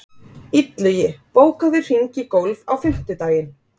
Illugi, bókaðu hring í golf á fimmtudaginn.